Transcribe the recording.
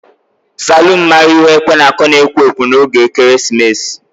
Salun maara ihe ekwe na-aku na ekwo ekwo n'oge ekeresimesi.